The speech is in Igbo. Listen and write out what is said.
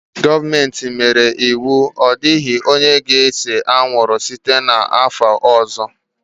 Gọọmenti nyere iwu, Ọ dịghị onye ga-ese anwụrụ! site n'afọ ọzọ